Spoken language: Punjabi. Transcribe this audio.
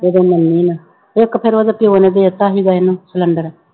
ਉਦੋਂ ਮੰਨੀ ਨਾ, ਇੱਕ ਫਿਰ ਉਹਦੇ ਪਿਓ ਨੇ ਦੇ ਦਿੱਤਾ ਸੀਗਾ ਇਹਨਾਂ ਸਿਲੈਂਡਰ।